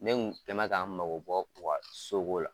Ne kun kɛnen bɛ ka mago bɔ u ka so ko la.